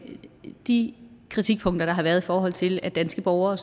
de kritikpunkter der har været i forhold til at danske borgere